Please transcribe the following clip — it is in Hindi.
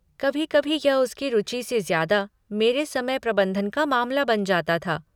कभी कभी यह उसकी रुचि से ज्यादा मेरे समय प्रबन्धन का मामला बन जाता था।